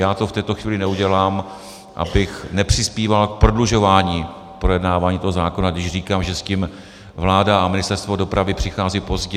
Já to v tuto chvíli neudělám, abych nepřispíval k prodlužování projednávání toho zákona, když říkám, že s tím vláda a Ministerstvo dopravy přichází pozdě.